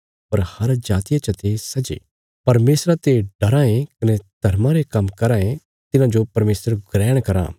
पर हर जातिया चते सै जे परमेशरा ते डराँ ये कने धर्मा रे काम्म कराँ ये तिन्हांजो परमेशर ग्रहण कराँ